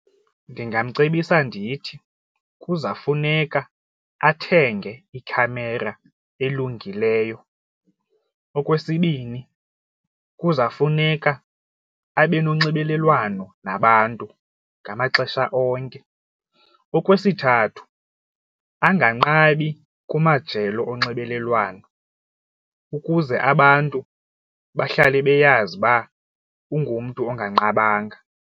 Ndingamcebisa ndithi kuza funeka athenge ikhamera elungileyo. Okwesibini, kuza funeka abe nonxibelelwano nabantu ngamaxesha onke. Okwesithathu, anganqabi kumajelo onxibelelwano ukuze abantu bahlale beyazi uba ungumntu onganqabanga.